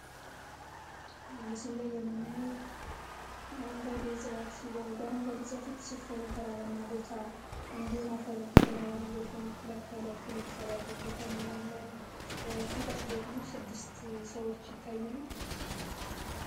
በምስሉ ላይ የምናየው አረንጓዴ ተራራማ ቦታ እንዲሁም ከተለያዩ ነገሮችን የመከላከል የተሰራበት ቦታ ነው ከታች ደግሞ ስድስት ሰዎች እናያለን።